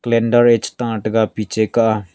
clender eh che ta taga piche ka aa.